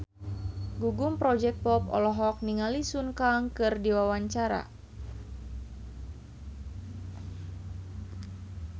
Gugum Project Pop olohok ningali Sun Kang keur diwawancara